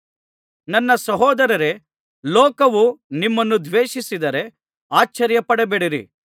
ನನ್ನ ಸಹೋದರರೇ ಲೋಕವು ನಿಮ್ಮನ್ನು ದ್ವೇಷಿಸಿದರೆ ಆಶ್ಚರ್ಯಪಡಬೇಡಿರಿ